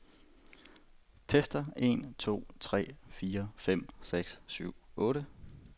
Tester en to tre fire fem seks syv otte.